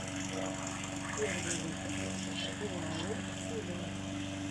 первый выпуск уау тв